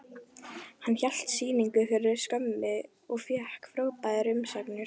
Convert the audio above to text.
Hann hélt hérna sýningu fyrir skömmu og fékk frábærar umsagnir.